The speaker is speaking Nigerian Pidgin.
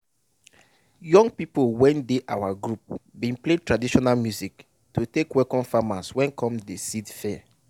young people wey dey our group bin play traditional music to take welcome farmers wey come de seed fair.